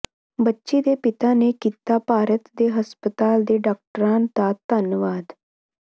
ਬੱਚੀ ਦੇ ਪਿਤਾ ਨੇ ਕੀਤਾ ਭਾਰਤ ਤੇ ਹਸਪਤਾਲ ਦੇ ਡਾਕਟਰਾਂ ਦਾ ਧੰਨਵਾਦ